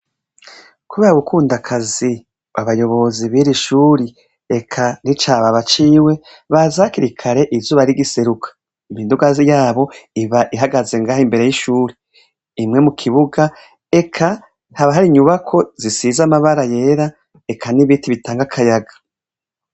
kubeha gukunda akazi babayobozi biri ishuri ek n'icaba baciwe bazakirikare izuba rigiseruka imindugai yabo iba ihagaze ngaho imbere y'ishuri imwe mu kibuga ek taba hari nyubako zisiz amabara yera ek n'ibiti bitangakayaga.